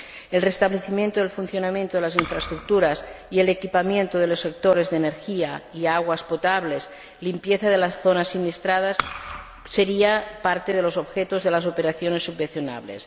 El restablecimiento del funcionamiento de las infraestructuras, el equipamiento de los sectores de energía y aguas potables y la limpieza de las zonas siniestradas serían parte de los objetos de las operaciones subvencionables.